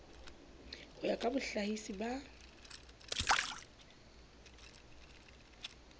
ho ya ka bohlahisi ba